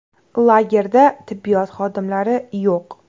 Lagerda tibbiyot xodimlari yo‘q.